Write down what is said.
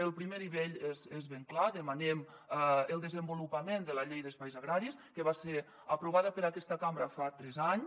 el primer nivell és ben clar demanem el desenvolupament de la llei d’espais agraris que va ser aprovada per aquesta cambra fa tres anys